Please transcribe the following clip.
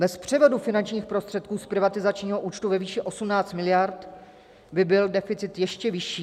Bez převodu finančních prostředků z privatizačního účtu ve výši 18 mld. by byl deficit ještě vyšší.